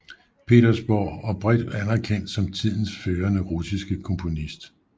Petersborg og bredt anerkendt som tidens førende russiske komponist